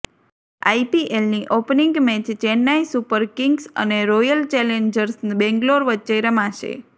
આઈપીએલની opening match Chennai super kings અને royal challengers Bangalore વચ્ચે રમાશે